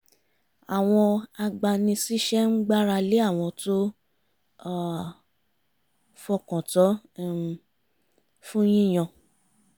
àwọn agbani-síṣẹ́ ń gbára lé àwọn tó fọkàn tán um fún yíyan